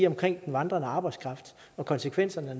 om den vandrende arbejdskraft og konsekvenserne af